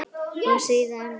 Og síðan?